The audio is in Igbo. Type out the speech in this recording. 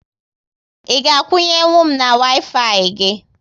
Ị ga akwunye nwu m na Waifai gị?